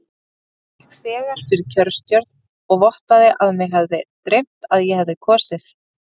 Ég gekk þegar fyrir kjörstjórn og vottaði að mig hefði dreymt að ég hefði kosið.